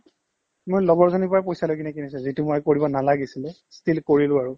মই লগৰজনীৰ পৰা পইচালৈ কিনে কিনিছিলো এইটো মই কৰিব নালাগিছিলে still কৰিলো আৰু